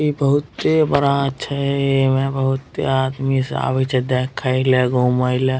इ बहुते बड़ा छई एमे बहुते आदमी सब आवेइछे देखइ ला घुमई ला।